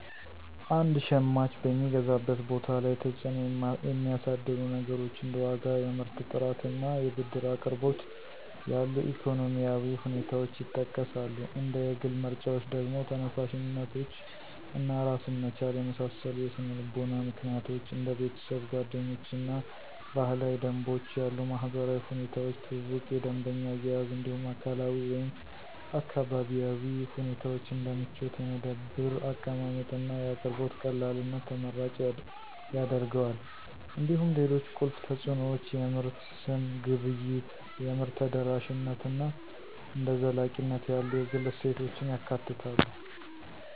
አንድ ሸማች በሚገዛበት ቦታ ላይ ተጽዕኖ የሚያሳድሩ ነገሮች እንደ ዋጋ፣ የምርት ጥራት፣ እና የብድር አቅርቦት ያሉ ኢኮኖሚያዊ ሁኔታዎች ይጠቀሳሉ። እንደ የግል ምርጫዎች ደግሞ፣ ተነሳሽነቶች እና ራስን መቻል የመሳሰሉ የስነ-ልቦና ምክንያቶች፣ እንደ ቤተሰብ፣ ጓደኞች እና ባህላዊ ደንቦች ያሉ ማህበራዊ ሁኔታዎች፣ ትውውቅ፣ የደንበኛ አያያዝ እንዲሁም አካላዊ ወይም አካባቢያዊ ሁኔታዎች እንደ ምቾት፣ የመደብር አቀማመጥ፣ እና የአቅርቦት ቀላልነት ተመራጭ ያደርገዋል። እንዲሁም ሌሎች ቁልፍ ተጽዕኖዎች የምርት ስም፣ ግብይት፣ የምርት ተደራሽነት እና እንደ ዘላቂነት ያሉ የግል እሴቶችን ያካትታሉ።